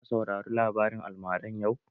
Za ka saurari labarin almaran yau?